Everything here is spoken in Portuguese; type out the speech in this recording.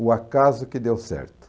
O acaso que deu certo.